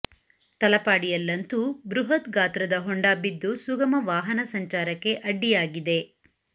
ತಲಪಾಡಿಯಲ್ಲಂತೂ ಬೃಹತ್ ಗಾತ್ರದ ಹೊಂಡ ಬಿದ್ದು ಸುಗಮ ವಾಹನ ಸಂಚಾರಕ್ಕೆ ಅಡ್ಡಿಯಾಗಿದೆ